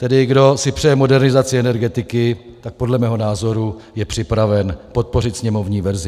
Tedy kdo si přeje modernizaci energetiky, tak podle mého názoru je připraven podpořit sněmovní verzi.